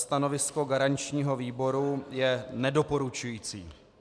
Stanovisko garančního výboru je nedoporučující.